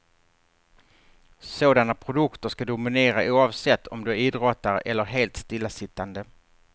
Sådana produkter ska dominera oavsett om du är idrottare eller helt stillasittande.